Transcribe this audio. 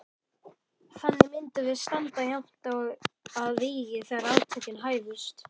Þannig myndum við standa jafnt að vígi þegar átökin hæfust.